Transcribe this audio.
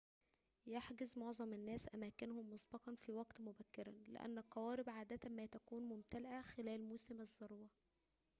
يحجز معظم الناس أماكنهم مسبقاً في وقتٍ مبكرٍ لأن القوارب عادةً ما تكون ممتلئةً خلال موسم الذروة